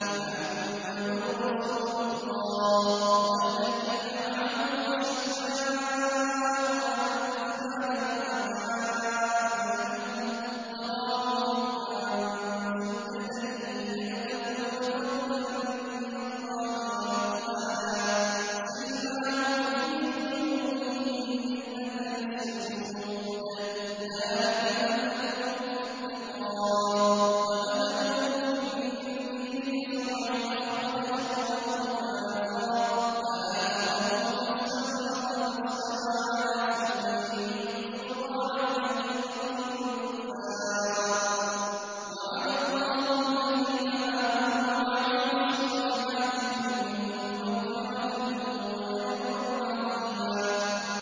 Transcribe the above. مُّحَمَّدٌ رَّسُولُ اللَّهِ ۚ وَالَّذِينَ مَعَهُ أَشِدَّاءُ عَلَى الْكُفَّارِ رُحَمَاءُ بَيْنَهُمْ ۖ تَرَاهُمْ رُكَّعًا سُجَّدًا يَبْتَغُونَ فَضْلًا مِّنَ اللَّهِ وَرِضْوَانًا ۖ سِيمَاهُمْ فِي وُجُوهِهِم مِّنْ أَثَرِ السُّجُودِ ۚ ذَٰلِكَ مَثَلُهُمْ فِي التَّوْرَاةِ ۚ وَمَثَلُهُمْ فِي الْإِنجِيلِ كَزَرْعٍ أَخْرَجَ شَطْأَهُ فَآزَرَهُ فَاسْتَغْلَظَ فَاسْتَوَىٰ عَلَىٰ سُوقِهِ يُعْجِبُ الزُّرَّاعَ لِيَغِيظَ بِهِمُ الْكُفَّارَ ۗ وَعَدَ اللَّهُ الَّذِينَ آمَنُوا وَعَمِلُوا الصَّالِحَاتِ مِنْهُم مَّغْفِرَةً وَأَجْرًا عَظِيمًا